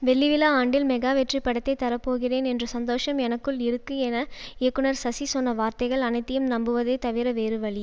வெள்ளிவிழா ஆண்டில் மெகா வெற்றி படத்தை தரப்போகிறேன் என்ற சந்தோஷம் எனக்குள் இருக்கு என இயக்குனர் சுசி சொன்ன வார்த்தைகள் அனைத்தையும் நம்புவதை தவிர வேறுவழி